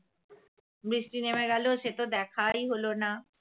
বৃষ্টি নেমে গেলো সে তো দেখাই হলো না